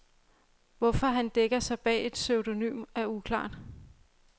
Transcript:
Hvorfor han dækker sig bag et pseudonym er uklart.